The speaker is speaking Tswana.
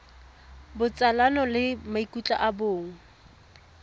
botsalano le maikutlo a bong